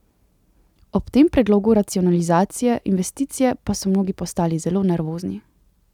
Ob tem predlogu racionalizacije investicije pa so mnogi postali zelo nervozni.